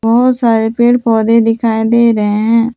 बहुत सारे पेड़ पौधे दिखाई दे रहे हैं।